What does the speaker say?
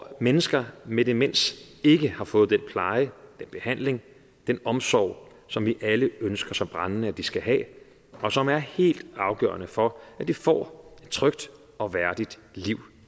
at mennesker med demens ikke har fået den pleje den behandling den omsorg som vi alle ønsker så brændende at de skal have og som er helt afgørende for at de får et trygt og værdigt liv